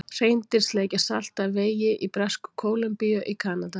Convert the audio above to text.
Hreindýr sleikja salt af vegi í Bresku-Kólumbíu í Kanada.